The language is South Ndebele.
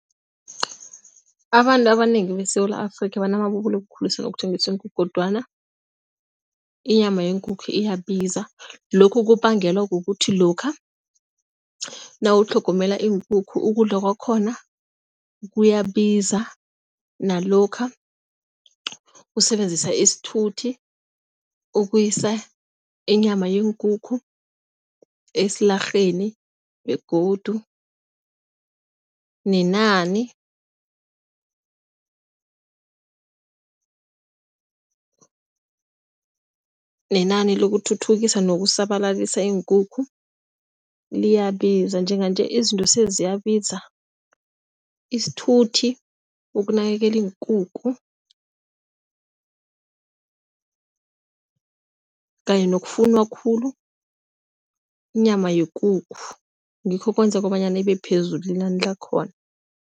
Abantu abanengi beSewula Afrika banamabubulo wokukhulisa nokuthengiswa iinkukhu kodwana inyama yeenkukhu iyabiza. Lokhu kubangelwa kukuthi lokha nawutlhogomela iinkukhu ukudla kwakhona kuyabiza nalokha usebenzisa isithuthi ukuyisa inyama yeenkukhu esilarheni begodu nenani. Nenani lokuthuthukisa nokusabalalisa iinkukhu liyabiza. Njenganje izinto seziyabiza, isithuthi ukunakekela iinkukhu kanye nokufunwa khulu inyama yekukhu ngikho okwenza kobanyana ibe phezulu inani lakhona.